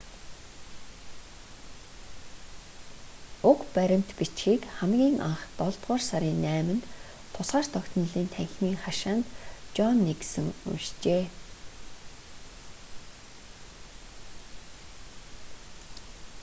уг баримт бичгийг хамгийн анх долдугаар сарын 8-нд тусгаар тогтнолын танхимын хашаанд жон никсон уншжээ